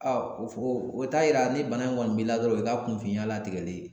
Aa o f o t'a yira ni bana in kɔni b'i la dɔrɔn o y'i ka kunfinya latigɛlen ye